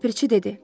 Ləpirçi dedi.